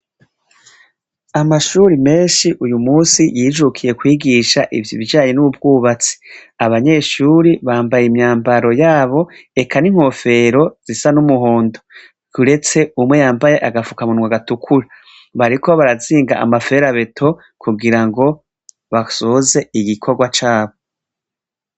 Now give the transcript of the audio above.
Amashuri menshi uyu munsi yijukiye kwigisha ibijanye n'ubwubatsi abanyeshuri bambaye imyambaro yabo eka n'inkofero zisa n'umuhondo yuretse umwe yambaye agafuka munwa gatukura bariko barazinga amaferabeto kugira ngo basoze igikorwa cabo.